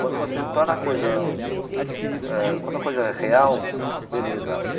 Quando você torna a eh quando a coisa é coisa real, beleza.